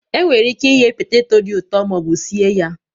Enwere ike sie poteto dị ụtọ ma ọ bụ sie ya